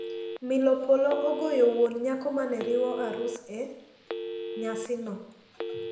Mil polo ne ogoyo wuon nyako ma ne riwo arus e nyasino.